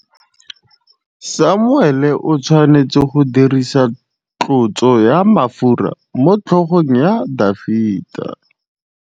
Samuele o tshwanetse go dirisa tlotsô ya mafura motlhôgong ya Dafita.